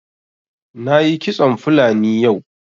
Na yi kitson fulani yau